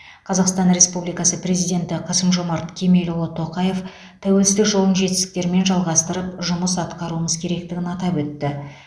қазақстан республикасы президенті қасым жомарт кемелұлы тоқаев тәуелсіздік жолын жетістіктермен жалғастырып жұмыс атқаруымыз керектігін атап өтті